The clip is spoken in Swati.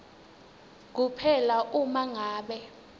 kuphela uma ngabe